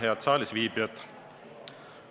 Head saalisviibijad!